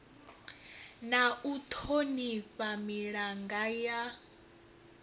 na u thonifha milanga ya